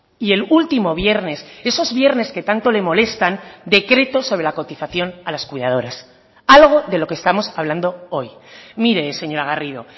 y el último viernes esos viernes que tanto le molestan decreto sobre la cotización a las cuidadoras algo de lo que estamos hablando hoy mire señora garrido